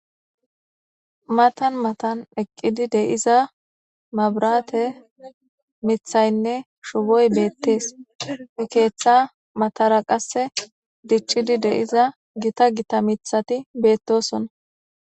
matan matan eqqidi de7iza mabrate mithaynne shuboy beettees he keeththa matara qasse dichchidi deiza gita gita mithati beettosona